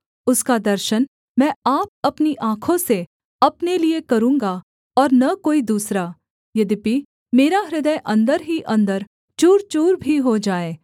उसका दर्शन मैं आप अपनी आँखों से अपने लिये करूँगा और न कोई दूसरा यद्यपि मेरा हृदय अन्दर ही अन्दर चूरचूर भी हो जाए